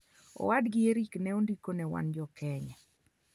owadgi Erik ne ondiko ni wan jo-Kenya